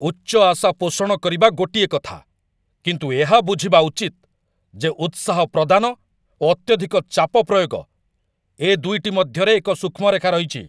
ଉଚ୍ଚ ଆଶା ପୋଷଣ କରିବା ଗୋଟିଏ କଥା, କିନ୍ତୁ ଏହା ବୁଝିବା ଉଚିତ ଯେ ଉତ୍ସାହ ପ୍ରଦାନ ଓ ଅତ୍ୟଧିକ ଚାପ ପ୍ରୟୋଗ, ଏ ଦୁଇଟି ମଧ୍ୟରେ ଏକ ସୂକ୍ଷ୍ମ ରେଖା ରହିଛି।